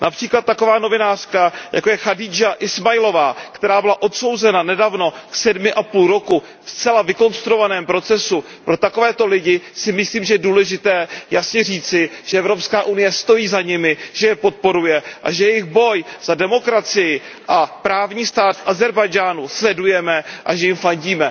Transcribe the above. Například taková novinářka, jako je Chadidža Ismailová, která byla odsouzena nedávno k sedmi a půl roku ve zcela vykonstruovaném procesu, pro takové lidi si myslím, že je důležité jasně říci, že Evropská unie stojí za nimi, že je podporuje a že jejich boj za demokracii a právní stát v Ázerbájdžánu sledujeme a že jim fandíme.